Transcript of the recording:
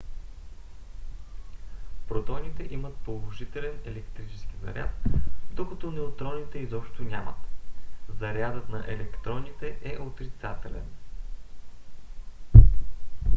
протоните имат положителен електрически заряд докато неутроните изобщо нямат. зарядът на електроните е отрицателен